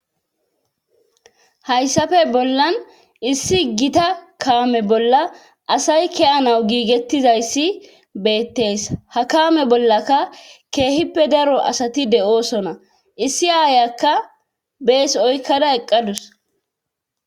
hayssafe bollan issi gita kaame bolla asay kiyanawu giigettizayssi beettees ha kaame bollaka keehippe daro asati de7oosona issi aayakka bees oykkada eqqadus